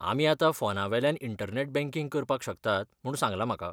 आमी आतां फोनावेल्यान इंटरनॅट बँकिंग करपाक शकतात म्हूण सांगलां म्हाका.